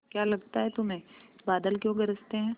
क्या लगता है तुम्हें बादल क्यों गरजते हैं